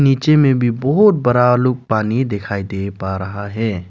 नीचे में भी बहोत बरा लुक पानी दिखाई दे पा रहा है।